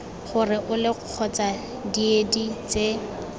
gore ole kgotsa diedi tse